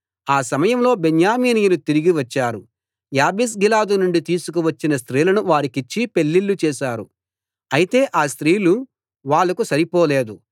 ఆ సమయంలో బెన్యామీనీయులు తిరిగి వచ్చారు యాబేష్గిలాదు నుండి తీసుకు వచ్చిన స్త్రీలను వారికిచ్చి పెళ్ళిళ్ళు చేశారు అయితే ఆ స్త్రీలు వాళ్లకు సరిపోలేదు